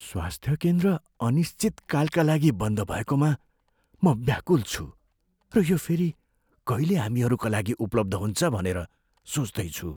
स्वास्थ्य केन्द्र अनिश्चितकालका लागि बन्द भएकोमा म व्याकुल छु र यो फेरि कहिले हामीहरूका उपलब्ध हुन्छ भनेर सोच्दैछु।